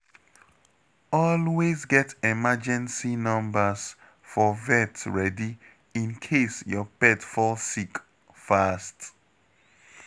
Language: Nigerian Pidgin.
Always get emergency numbers for vet ready in case your pet fall sick fast.